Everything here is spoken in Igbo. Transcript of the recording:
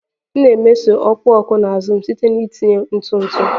M na-emeso ọkụ ọkụ na azụ m site na itinye ntụ ntụ ntụ ntụ